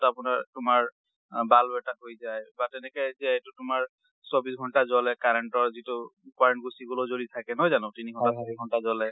আপোনাৰ তোমাৰ bulb এটা হৈ যাই। বা তেনেকে এই যে আইটো তোমাৰ চব্বিচ্ছ ঘণ্টা জ্বলে, current অৰ যিটো current গুচি গলেও জলি থাকে, নহয় জানো? তিনি ঘণ্টা চাৰি ঘণ্টা জ্বলে।